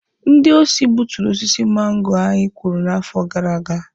Ndị osi gbuturu osisi mango anyị kụrụ n'afọ gara aga.